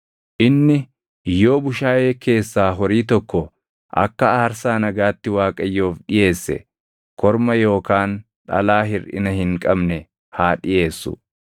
“ ‘Inni yoo bushaayee keessaa horii tokko akka aarsaa nagaatti Waaqayyoof dhiʼeesse, korma yookaan dhalaa hirʼina hin qabne haa dhiʼeessu.